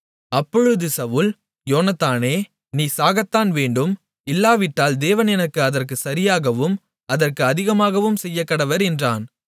அப்பொழுது சவுல் யோனத்தானே நீ சாகத்தான் வேண்டும் இல்லாவிட்டால் தேவன் எனக்கு அதற்குச் சரியாகவும் அதற்கு அதிகமாகவும் செய்யக்கடவர் என்றான்